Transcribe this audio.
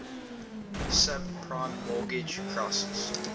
subprime mortgage crisis